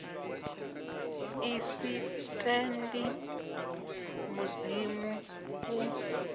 i sa tendi mudzimu u